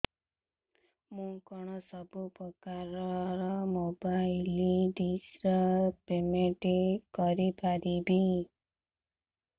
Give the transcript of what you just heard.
ମୁ କଣ ସବୁ ପ୍ରକାର ର ମୋବାଇଲ୍ ଡିସ୍ ର ପେମେଣ୍ଟ କରି ପାରିବି